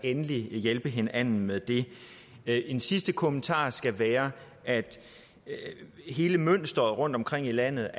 endelig hjælpe hinanden med det en sidste kommentar skal være at hele mønsteret af apotekere rundtomkring i landet